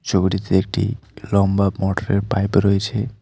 ছবিটিতে একটি লম্বা মোটর -এর পাইপ রয়েছে।